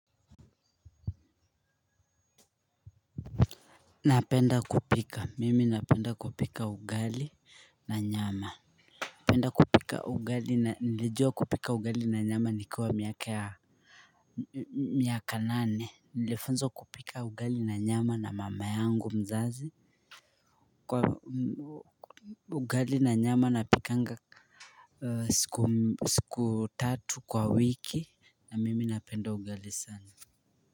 Napenda kupika. Mimi napenda kupika ugali na nyama. Napenda kupika ugali na nilijua kupika ugali na nyama nikiwa miaka nane. Nilifunzwa kupika ugali na nyama na mama yangu mzazi. Kwa ugali na nyama napikanga siku tatu kwa wiki na mimi napenda ugali sana.